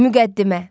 Müqəddimə.